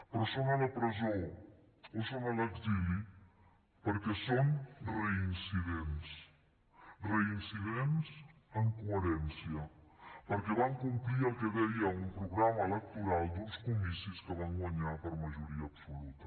però són a la presó o són a l’exili perquè són reincidents reincidents en coherència perquè van complir el que deia un programa electoral d’uns comicis que van guanyar per majoria absoluta